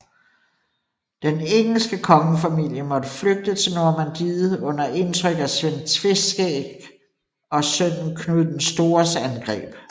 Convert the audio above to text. Den engelske kongefamilie måtte flygte til Normandiet under indtryk af Sven Tveskægs og sønnen Knud den Stores angreb